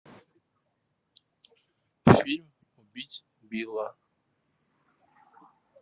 фильм убить билла